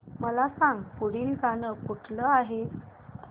मला सांग पुढील गाणं कुठलं आहे